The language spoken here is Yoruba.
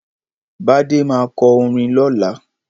Bádé má kọ orin lọ́la.